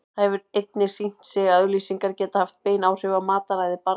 Það hefur einnig sýnt sig að auglýsingar geta haft bein áhrif á mataræði barna.